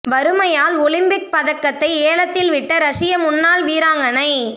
வறுமையால் Olympic பதக்கத்தை ஏலத்தில் விட்ட ரஷிய முன்னாள் வீராங்கனை